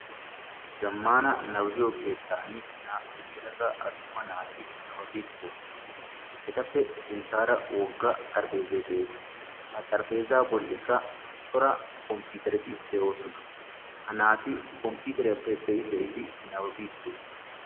Zammaana nababiyo keettan naa"u yelaga attuma naari nababiiddi doosona. Etappe sinttaara wogga xarapheezzay de'ees Ha xarapheezzaa bollikka cora komppiitereti de'oosona. Ha naati komppiiteriyappe be'i be'idi nababiiddi de'oosona.